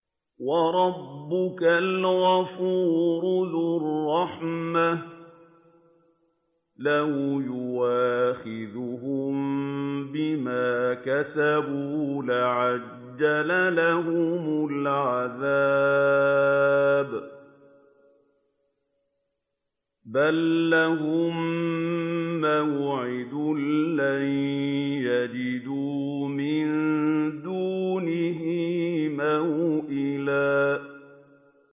وَرَبُّكَ الْغَفُورُ ذُو الرَّحْمَةِ ۖ لَوْ يُؤَاخِذُهُم بِمَا كَسَبُوا لَعَجَّلَ لَهُمُ الْعَذَابَ ۚ بَل لَّهُم مَّوْعِدٌ لَّن يَجِدُوا مِن دُونِهِ مَوْئِلًا